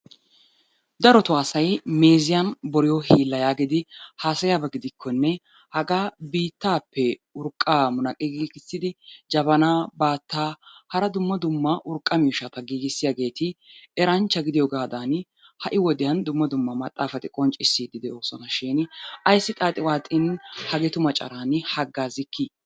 Darotoo asay meeziyan boriyo hiilla yaagidi haasayiyaba gidikkonne hagaa biittaappe urqqaa munaqqi giigissidi jabanaa, baattaa hara dumma dumma urqqa miishshata giigissiyageeti eranchcha gidiyogaadan ha'i wodiyan dumma dumma maxxaafati qonccissiiddi de'oosona shin ayissi xaaxi waaxin hageetu macaraani haggaazzikki?